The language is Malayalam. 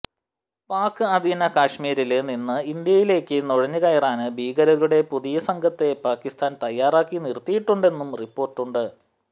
പാക്ക് അധീന കാശ്മീരില് നിന്ന് ഇന്ത്യയിലേക്ക് നുഴഞ്ഞുകയറാന് ഭീകരരുടെ പുതിയസംഘത്തെ പാക്കിസ്ഥാന് തയ്യാറാക്കി നിര്ത്തിയിട്ടുണ്ടെന്നും റിപ്പോര്ട്ടുണ്ട്